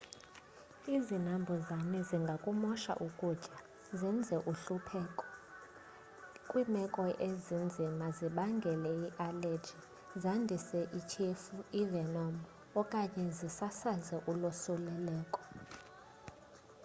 izinambuzane zingakumosha ukutya zenze ukuhlupheka kwimeko ezinzima zibangele ialeji zandise ithyefu ivenom okanye zisasaze ulosuleleko